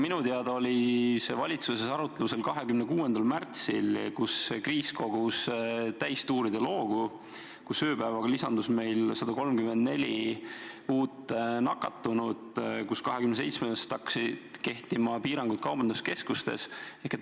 Minu teada oli see valitsuses arutlusel 26. märtsil, kui kriis kogus täistuuridel hoogu, ööpäevaga lisandus meil 134 nakatunut, 27. märtsist hakkasid kehtima piirangud kaubanduskeskustes.